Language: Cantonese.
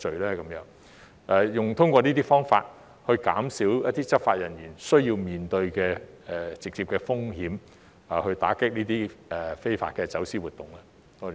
可否通過這些方法減少執法人員需要面對的直接風險，打擊這些非法走私活動呢？